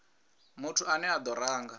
muthu ane a do ranga